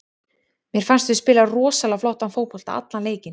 Mér fannst við spila rosalega flottan fótbolta allan leikinn.